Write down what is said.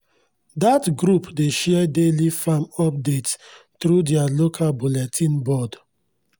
dat group dey share daily farm updates through their local bulletin board.